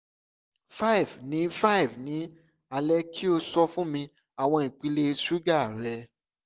five ni five ni alẹ ki o sọ fun mi awọn ipele suga rẹ